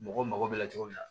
Mɔgɔw mago bɛ cogo min na